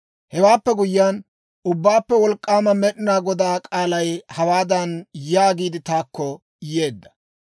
Hewaappe guyyiyaan, Ubbaappe Wolk'k'aama Med'inaa Godaa k'aalay hawaadan yaagiid taakko yeedda;